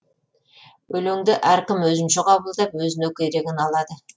өлеңді әркім өзінше қабылдап өзіне керегін алады